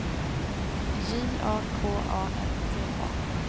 J A K A R T A